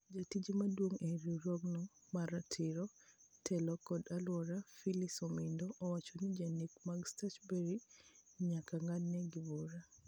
Jata tije mduong e riwruogono mar ratiro, telo kod aluora Phyllis Omido owacho ni jonek mag Stuchburry nyaka ngad negi bura.